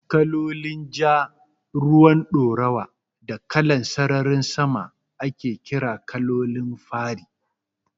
Kalolin Ja, ruwan ɗoruwa da kalan sararin sama ake ƙira Kalolin fari